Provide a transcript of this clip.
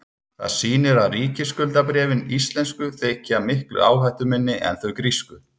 það sýnir að ríkisskuldabréfin íslensku þykja miklu áhættuminni en þau grísku